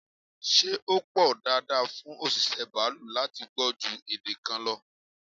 Ṣé ó pọn dandan fún òṣìṣẹ́ baalú láti gbọ́ ju èdè kan lọ?